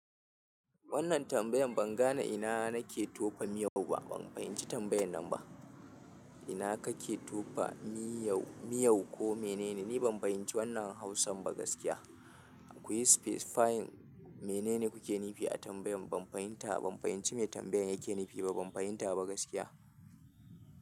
Wannan tambayar ban gane ina nake tofa miyar ba ina kake tofa miyau. Ni ban fahimci wannan hausar ba gaskiya kuyi space fine. Mene ne kuke nufi a tambayan? Ban fahimta, ban fahimci me tambayan yake nufi ba. Ban fahimta ba gaskiya.